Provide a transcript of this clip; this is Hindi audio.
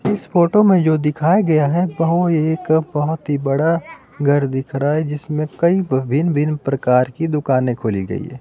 इस फोटो में जो दिखाया गया है। वह एक बहुत ही बड़ा घर दिख रहा है जिसमें कई भिन्न-भिन्न प्रकार की दुकानें खोली गई है।